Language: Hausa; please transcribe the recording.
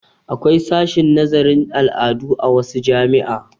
Akwai sashin nazarin al'adu a wasu jami'a.